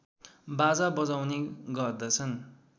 बाजा बजाउने गर्दछन्